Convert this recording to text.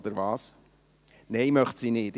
– Nein, das möchte sie nicht.